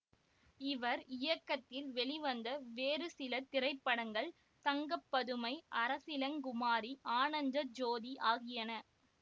இவர் இயக்கத்தில் வெளிவந்த வேறு சில திரைப்படங்கள் தங்கப்பதுமை அரசிளங்குமாரி ஆனந்த ஜோதி ஆகியன